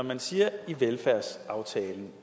man siger i velfærdsaftalen